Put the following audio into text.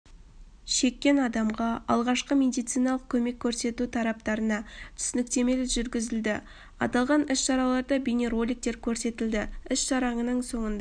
шеккен адамға алғашқы медициналық көмек көрсету тақырыптарына түсініктемелер жүргізілді аталған іс-шараларда бейнероликтер көрсетілді іс-шараның соңында